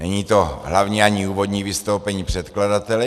Není to hlavní ani úvodní vystoupení předkladatele.